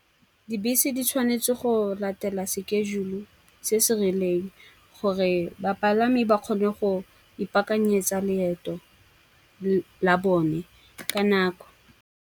Dibese di tshwanetse go latela sekejule se se rileng, gore bapalami ba kgone go ipaakanyetsa leeto la bone ka nako.